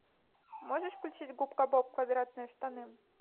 можешь включить губка боб квадратные штаны